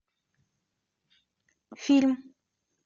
фильм